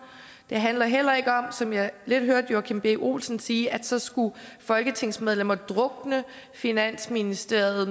det handler heller ikke om som jeg lidt hørte joachim b olsen sige at så skulle folketingsmedlemmer drukne finansministeriet